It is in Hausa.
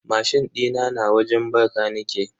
Mashin dina na wajen bakanike.